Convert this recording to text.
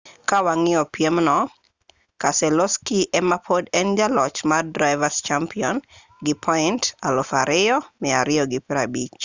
ka wang'iyo piem no keselowski ema pod en jaloch mar driver's champion gi point 2,250